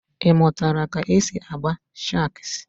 Ịmụtala ka e si akpa shagz?